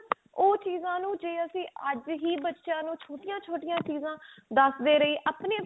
ਉਹ ਚੀਜ਼ਾਂ ਨੂੰ ਜੇ ਅਸੀਂ ਬਚਿਆਂ ਨੂੰ ਛੋਟੀਆਂ ਛੋਟੀਆਂ ਚੀਜ਼ਾਂ ਦਸਦੇ ਰਹੀਏ ਆਪਣੇ